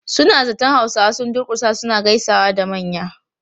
Suna zaton Hausawa sun durkusa suna gaisawa da manya.